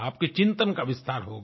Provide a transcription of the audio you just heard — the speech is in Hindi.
आपके चिंतन का विस्तार होगा